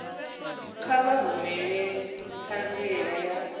kha vha rumele ṱhanziela ya